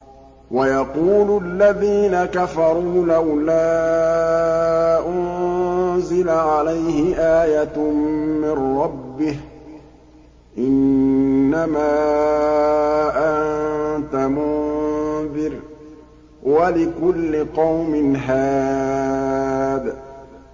وَيَقُولُ الَّذِينَ كَفَرُوا لَوْلَا أُنزِلَ عَلَيْهِ آيَةٌ مِّن رَّبِّهِ ۗ إِنَّمَا أَنتَ مُنذِرٌ ۖ وَلِكُلِّ قَوْمٍ هَادٍ